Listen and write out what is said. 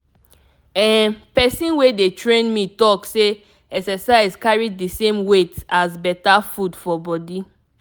ehn person wey dey train me talk say exercise carry the same weight as better food for body.